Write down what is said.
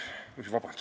Vabandust!